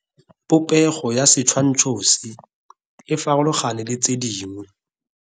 Popego ya setshwantsho se, e farologane le tse dingwe.